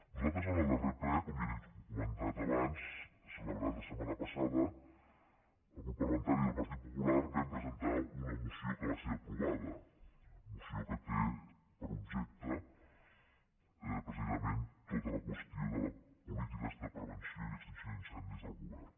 nosaltres en el darrer ple com ja li he comentat abans celebrat la setmana passada el grup parlamentari del partit popular vam presentar una moció que va ser aprovada moció que té per objecte precisament tota la qüestió de polítiques de prevenció i extinció d’incendis del govern